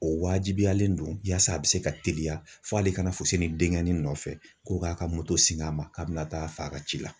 O wajibiyalen don yasa a bɛ se ka teliya fo hali kana fosi ni dengɛnni nɔfɛ ko k'a ka moto sin a ma k'a bɛna taa fa ka ci la.